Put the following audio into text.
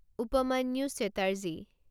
Upamanyu Chatterjee